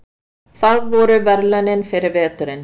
Það eru verðlaunin fyrir veturinn.